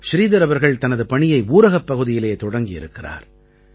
ஸ்ரீதர் அவர்கள் தனது பணியை ஊரகப் பகுதியிலே தொடங்கியிருக்கிறார்